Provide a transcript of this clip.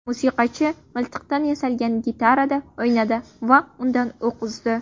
Musiqachi miltiqdan yasalgan gitarada o‘ynadi va undan o‘q uzdi .